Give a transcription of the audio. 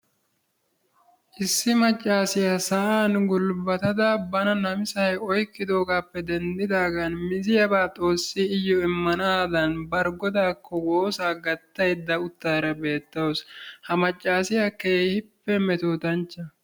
issi macaassiya sa'ani gulbadata miziyaba xoosay iyo imana mala bari godaako woosaa gataydda utaara beetawusu, ha macaassiyakka keehippe namisanchcha.